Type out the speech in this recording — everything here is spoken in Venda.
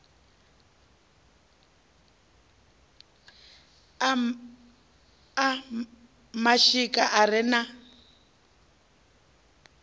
a mashika a re na